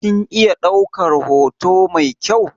Kin iya ɗaukar hoto mai kyau?